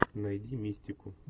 найди мистику